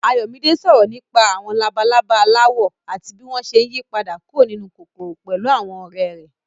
Ayọ̀mídé sọ̀rọ̀ nípa àwọn labalaba aláwọ̀ àti bí wọ́n ṣe ń yípadà kúrò nínú kòkòrò pẹ̀lú àwọn ọ̀rẹ́ rẹ̀.